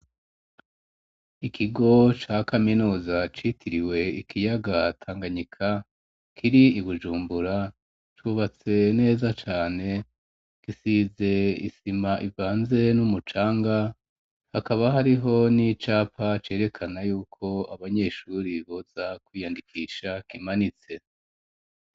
Ikigo ca kaminuza citiriwe ikiyaga tanganyika kiri ibujumbura cubatse neza cane gisize isima ibanze n'umucanga hakaba hariho n'icapa cerekana yuko abanyeshure boza kwiyandikisha kimanitse.